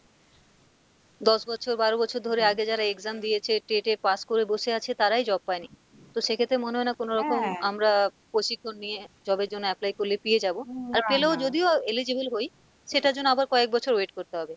দশ বছর বারো বছর ধরে আগে যারা exam দিয়েছে inititalTET এ pass করে বসে আছে তারাই job পায়নি, তো সেক্ষেত্রে মনে হয় না কোনোরকম আমরা প্রশিক্ষণ নিয়ে job এর জন্য apply করলে পেয়ে যাবো আর পেলেও যদিও eligible হই সেটার জন্য আবার কয়েক বছর wait করতে হবে,